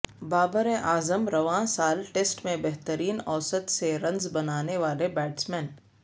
بابراعظم رواں سال ٹیسٹ میں بہترین اوسط سے رنز بنانے والے بیٹسمین